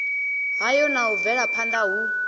hayo na u bvelaphanda hu